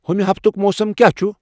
ہَمِہ ہفتُک موسم کیا چُھ ۔